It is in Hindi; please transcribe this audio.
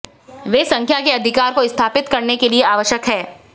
वे संख्या के अधिकार को स्थापित करने के लिए आवश्यक हैं